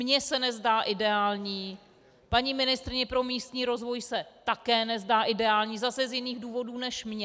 Mně se nezdá ideální, paní ministryni pro místní rozvoj se také nezdá ideální zase z jiných důvodů než mně.